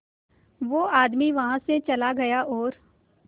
वो आदमी वहां से चला गया और